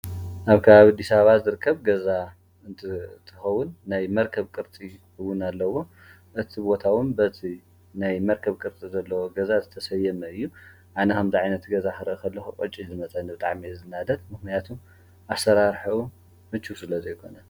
አብ ከባቢ አዲስ አበባ ዝርከብ ገዛ እንትኸዉን ናይ መርከብ ቅርፂ እዉን አለዎ። እቲ ቦታ እዉን በቲ ናይ መርከብ ቅርፂ ዘለዎ ገዛ ዝተሰየመ እዩ። አነ ከምዚ ዓይነት ገዛ ክርኢ ከለኩ ቅጭ እዩ ዝመፀኒ። ብጣዕሚ እየ ዝናደድ። ምክንያቱ አሰራርሕኡ ምችው ስለ ዘይኮነ።